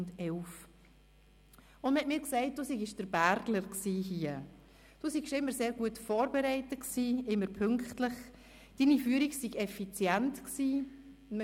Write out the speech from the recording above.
Man hat mir gesagt, du seist hier der «Bergler» gewesen, du seist immer sehr gut vorbereitet gewesen, immer pünktlich, deine Führung sei effizient gewesen.